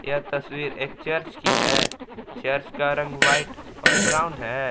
यह तस्वीर एक चर्च की है चर्च का रंग व्हाइट और ब्राउन है।